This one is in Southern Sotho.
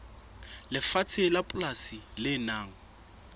lefatshe la polasi le nang